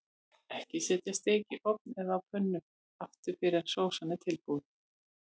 Ekki setja steik í ofn eða á pönnu aftur fyrr en sósan er tilbúin.